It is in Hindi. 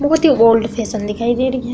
बहोत ही ओल्ड फैशन दिखाई दे रही है।